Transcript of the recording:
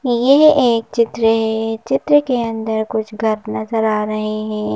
यह एक चित्र हैं चित्र के अंदर कुछ घर नजर आ रहें हैं।